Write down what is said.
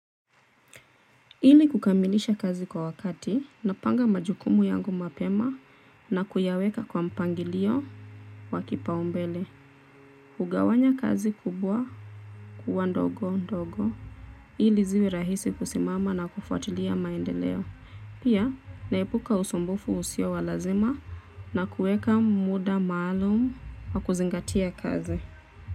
Ili kukamilisha kazi kwa wakati, napanga majukumu yangu mapema na kuyaweka kwa mpangilio wakipaumbele. Hugawanya kazi kubwa kuwa ndogo ndogo. Ili ziwe rahisi kusimama na kufuatilia maendeleo. Pia naepuka usumbufu usio wa lazima na kuweka muda maalumu ya kuzingatia kazi.